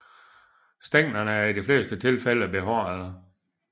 Stænglerne er i de fleste tilfælde behårede